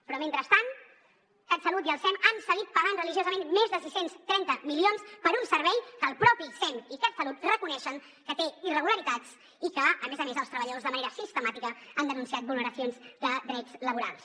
però mentrestant catsalut i el sem han seguit pagant religiosament més de sis cents i trenta milions per un servei que el propi sem i catsalut reconeixen que té irregularitats i que a més a més els treballadors de manera sistemàtica han denunciat vulneracions de drets laborals